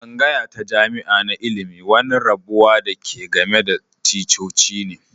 Tsangaya ta jami'a na ilmi wani rabuwa da ke game da ticcoci ne.